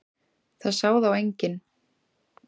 Það sá þá enginn.